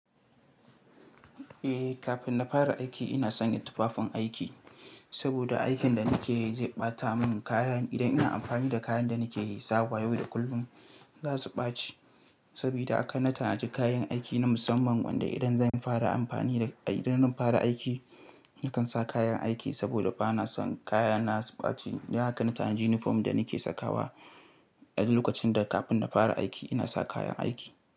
Eh, kafin na fara aiki ina sanya tufafin aiki. Saboda aikin da nake yi zai ɓata mun kaya, idan ina amfani da kayan da nake sawa yau da kullum za su ɓace saboda haka na tanaji kayan aiki na musamman wanda idan zan fara amfani da, idan zan fara aiki nakan sa kayan aiki saboda ba na son kaya na su ɓaci. Don haka na tanaji uniform da nake sakawa a duk lokacin da kafin na fara aiki ina sa kayan aiki.